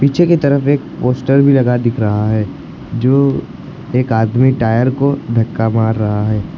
पीछे की तरफ एक पोस्टर भी लगा दिख रहा है जो एक आदमी टायर को धक्का मार रहा है।